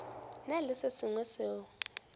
na le se sengwe seo